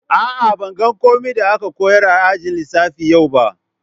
Aa, ban gane komi da aka koyars a'ajin lissafi yau ba.